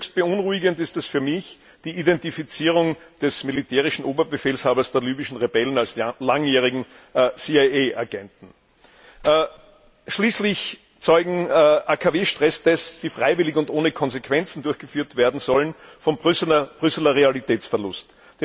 Höchst beunruhigend ist für mich die Identifizierung des militärischen Oberbefehlshabers der libyschen Rebellen als langjähriger CIA Agent. Schließlich zeugen AKW Stresstests, die freiwillig und ohne Konsequenzen durchgeführt werden sollen, vom Brüsseler Realitätsverlust.